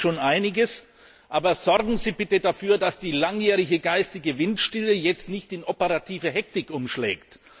Ich erkenne schon einiges, aber sorgen Sie bitte dafür, dass die langjährige geistige Windstille jetzt nicht in operative Hektik umschlägt.